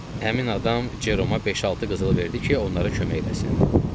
Həmin adam Ceroma beş-altı qızıl verdi ki, onlara kömək eləsin.